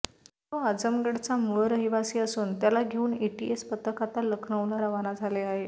तो आझमगडचा मूळ रहिवासी असून त्याला घेऊन एटीएस पथक आता लखनऊला रवाना झाले आहे